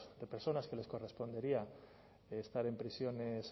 de personas que les correspondería estar en prisiones